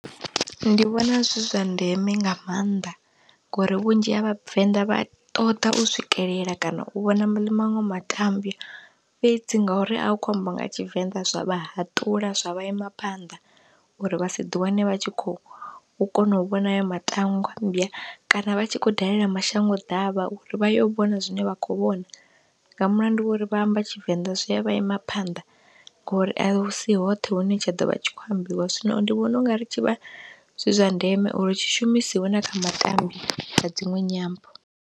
Ndi vhona zwi zwa ndeme nga maanḓa ngori vhunzhi ha vhavenḓa vha ṱoḓa u swikelela kana u vhona maṅwe matambya fhedzi, ngauri a hu khou ambiwa nga Tshivenḓa zwa vha haṱula, zwa vha ima phanḓa uri vha si ḓi wane vha tshi khou kona u vhona haya matangwa mbya, kana vha tshi khou dalela mashango ḓavha uri vha yo vhona zwine vha khou vhona, nga mulandu wa uri vha amba Tshivenda zwi a vha ima phanḓa ngori a si hoṱhe hune tsha ḓovha a tshi khou ambiwa. Zwino ndi vhona ungari tshi vha zwi zwa ndeme uri tshi shumisiwe na kha matambya a dziṅwe nyambo.